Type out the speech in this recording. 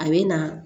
A bɛ na